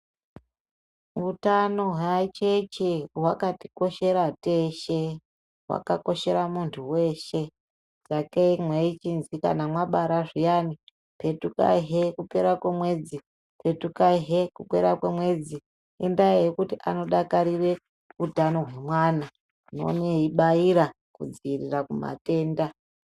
Hutano hweacheche hwakatikoshera teshe ,hwakakoshera muntu weshe. Sakei meichizwi kana mabara zhiyane ,petukai hee kupera kwemwedzi, petukai he kupera kwemwedzi. Indaa yekuti anodakarire hutano hwemwana .Unoone eibaira kudzivirira kumatenda.